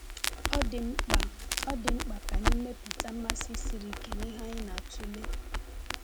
Ọ dị mkpa Ọ dị mkpa ka anyị mepụta mmasị siri ike n’ihe anyị na-atụle.